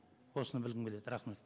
осыны білгім келеді рахмет